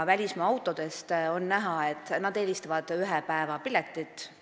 Välismaa autode puhul on näha, et nad eelistavad ühepäevapiletit.